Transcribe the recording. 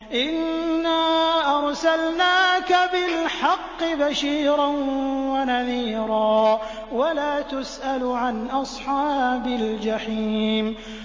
إِنَّا أَرْسَلْنَاكَ بِالْحَقِّ بَشِيرًا وَنَذِيرًا ۖ وَلَا تُسْأَلُ عَنْ أَصْحَابِ الْجَحِيمِ